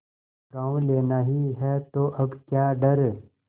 गॉँव लेना ही है तो अब क्या डर